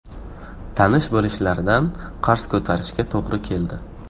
Tanish-bilishlardan qarz ko‘tarishga to‘g‘ri keldi.